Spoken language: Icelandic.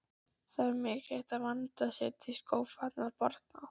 Það er mikilvægt að vandað sé til skófatnaðar barna.